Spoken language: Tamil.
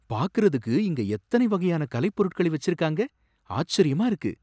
பாக்குறதுக்கு இங்க எத்தனை வகையான கலைப்பொருட்களை வெச்சிருக்காங்க! ஆச்சரியமா இருக்கு.